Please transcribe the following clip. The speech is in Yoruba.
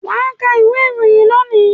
Wà ka ìwé-ìròyìn lónìí!